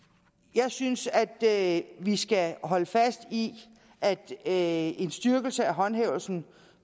jeg synes at vi skal holde fast i at en styrkelse af håndhævelsen